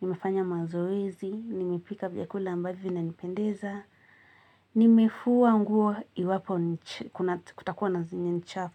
Nimefanya mazoezi. Nimepika vyakula ambavyo vinanipendeza. Nimefua nguo iwapo kutakuwa na zenye ni chafu.